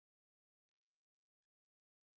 Hann er ekki til!